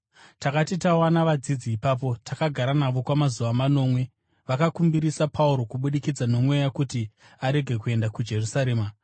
Takati tawana vadzidzi ipapo, takagara navo kwamazuva manomwe. Vakakumbirisa Pauro kubudikidza noMweya kuti arege kuenda kuJerusarema.